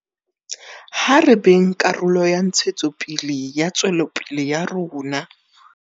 Ha re beng karolo ya ntshetsopele le tswelopele ya rona.